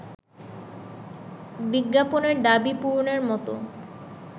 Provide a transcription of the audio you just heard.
বিজ্ঞাপনের দাবি পূরণের মতো